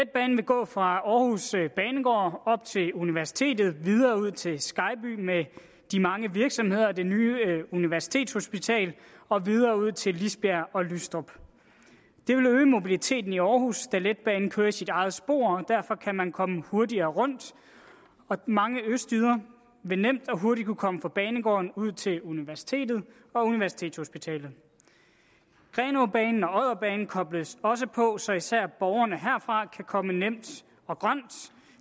gå fra aarhus banegård op til universitetet videre ud til skejby med de mange virksomheder og det nye universitetshospital og videre ud til lisbjerg og lystrup det vil øge mobiliteten i aarhus da letbanen kører i sit eget spor og derfor kan man komme hurtigere rundt mange østjyder vil nemt og hurtigt kunne komme fra banegården ud til universitetet og universitetshospitalet grenaabanen og odderbanen kobles også på så især borgerne herfra kan komme nemt og grønt